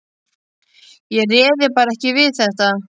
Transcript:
Ég réði bara ekki við þetta.